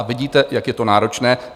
A vidíte, jak je to náročné.